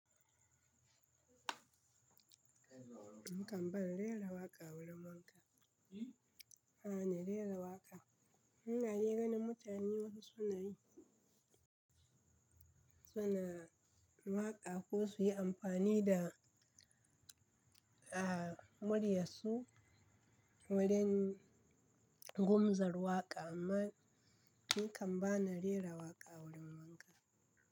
Ni kan ba na rera waƙa wurin wanka. A'a, na rera waƙa. Hanga jegon da mutane wasu suna yi, suna waƙa ko su yi amfani da, a muryarsu wurin gumzar waƙa amma ni kan ba na rera waƙa wurin wanka.